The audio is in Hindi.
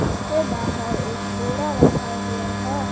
उसके बाहर एक बोड़ा रखा हुआ है।